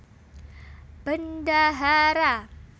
Bendahara